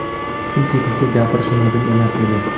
Chunki bizga gapirish mumkin emas edi.